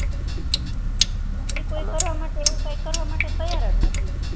ઈ કોઈ કરવા માટે એવું કરવા માટે તૈયાર જ નથી